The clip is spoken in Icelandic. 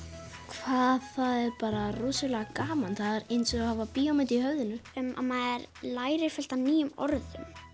hvað það er bara rosalega gaman það er eins og að hafa bíómynd í höfðinu maður lærir fullt af nýjum orðum